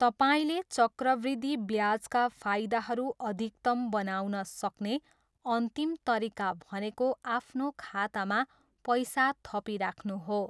तपाईँले चक्रवृद्धि ब्याजका फाइदाहरू अधिकतम बनाउन सक्ने अन्तिम तरिका भनेको आफ्नो खातामा पैसा थपिराख्नु हो।